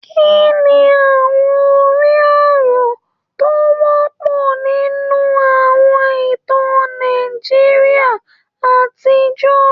Kí ni àwọn orí-ọ̀rọ̀ tó wọ́pọ̀ nínú àwọn ìtàn Nàìjíríà àtijọ́?